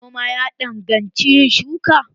Noma ya danganci yin shuka.